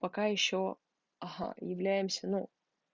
пока ещё ага являемся ну